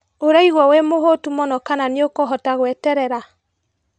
ũraigua wĩmũhũtu mũno kana nĩũkũhota gweterera?